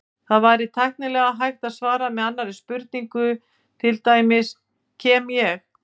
Það væri tæknilega hægt að svara með annarri spurningu, til dæmis: Kem ég?